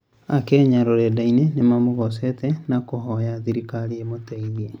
Akenya rũrendaini nĩmamũgocete na kũhoya thirikari ĩmũteithie